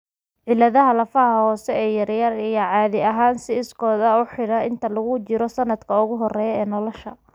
Cilladaha lafaha hoose ee yaryar ayaa caadi ahaan si iskood ah u xidha inta lagu jiro sannadka ugu horreeya ee nolosha.